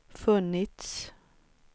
funnits